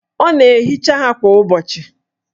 Ọ na-ehicha ha kwa ụbọchị?